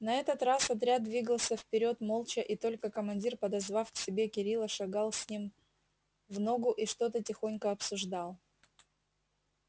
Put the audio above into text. на этот раз отряд двигался вперёд молча и только командир подозвав к себе кирилла шагал с ним в ногу и что-то тихонько обсуждал